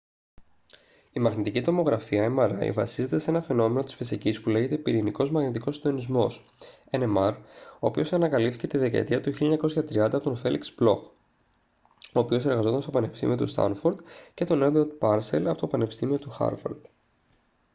η μαγνητική τομογραφία mri βασίζεται σε ένα φαινόμενο της φυσικής που λέγεται πυρηνικός μαγνητικός συντονισμός nmr ο οποίος ανακαλύφθηκε τη δεκαετία του 1930 από τον φέλιξ μπλοχ ο οποίος εργαζόταν στο πανεπιστήμιο του στάνφορντ και τον έντουαρντ πάρσελ από το πανεπιστήμιο του χάρβαρντ